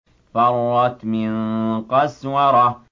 فَرَّتْ مِن قَسْوَرَةٍ